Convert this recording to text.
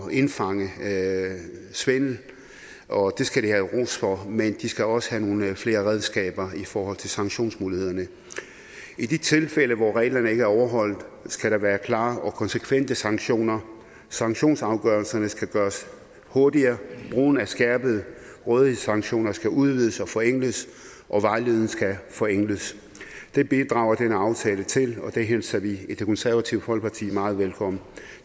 indfange svindel og det skal de have ros for men de skal også have nogle flere redskaber i forhold til sanktionsmulighederne i de tilfælde hvor reglerne ikke er overholdt skal der være klare og konsekvente sanktioner sanktionsafgørelserne skal gøres hurtigere brugen af skærpede rådighedssanktioner skal udvides og forenkles og vejledning skal forenkles det bidrager denne aftale til og det hilser vi i det konservative folkeparti meget velkommen